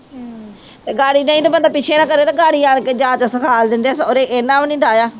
ਨਹੀਂ ਤਾਂ ਬੰਦਾ ਪਿੱਛੇ ਨਾ ਕਰੇ ਤੇ ਗਾਰੀ ਆਣ ਕੇ ਜਾਂਚ ਸਿਖਾਲ ਦਿੰਦੇ ਆ ਸਹੁਰੇ ਇਹਨਾਂ ਵੀ ਨੀ ਡਾਹਿਆ।